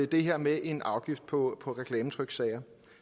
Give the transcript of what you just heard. det her med en afgift på reklametryksager